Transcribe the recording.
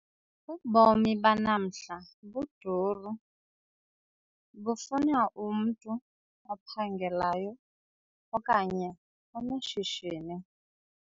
Ubomi banamhla buduru bufuna umntu ophangelayo okanye oneshishini.